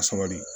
A sabali